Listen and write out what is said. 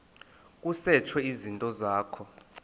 kusetshwe izinto zakho